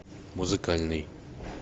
музыкальный